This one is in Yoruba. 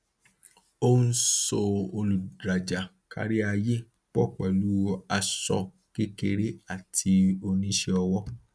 ó ń so olùrajà káríayé pọ pẹlú aṣọ kékeré àti oníṣẹọwọ